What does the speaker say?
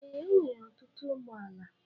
Ee, o nwere ọtụtụ ụgbọala